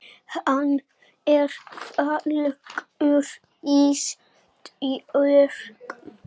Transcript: Hann er fallegur Ísbjörg.